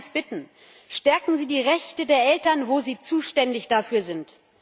Ich darf Sie um eins bitten Stärken Sie die Rechte der Eltern, wo Sie zuständig dafür sind.